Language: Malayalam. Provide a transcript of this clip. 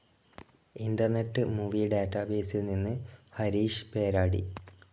ഇന്റർനെറ്റ്‌ മൂവി ഡാറ്റബേസിൽ നിന്ന് ഹരീഷ് പേരാടി.